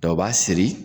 Dɔ o b'a siri